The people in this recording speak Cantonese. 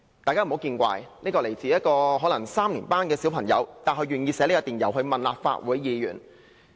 "大家不要見怪，雖然這封電郵來自一位可能是3年級的小朋友，但他願意寫信問立法會議員。